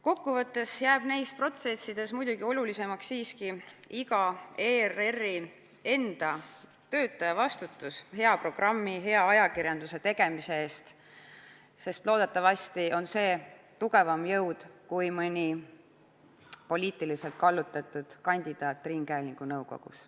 " Kokkuvõttes jääb neis protsessides siiski olulisemaks iga ERR-i töötaja enda vastutus hea programmi, hea ajakirjanduse tegemise eest, sest loodetavasti on see jõud tugevam kui mõni poliitiliselt kallutatud kandidaat ringhäälingunõukogus.